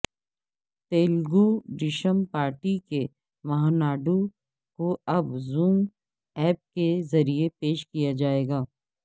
Telugu Desam party کے مہاناڈو کو اب زوم ایپ کے ذریعہ پیش کیاجائے گا